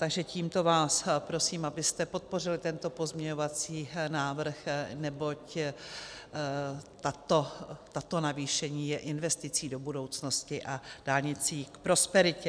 Takže tímto vás prosím, abyste podpořili tento pozměňovací návrh, neboť toto navýšení je investicí do budoucnosti a dálnicí k prosperitě.